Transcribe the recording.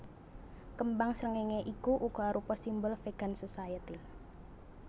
Kembang srengéngé iki uga arupa simbol Vegan Society